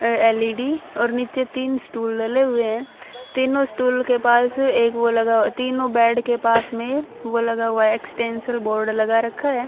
अह L E D और नीचे तीन स्टूल लगे हुए हैं तीनों स्टूल के पास एक वो लगा हुआ तीनों बेड के पास में वो लगा हुआ है एक्सटेंशन बोर्ड लगा रखा है।